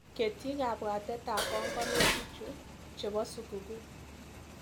Ketyi kabwatetap panganutikchu chebo sukukuu.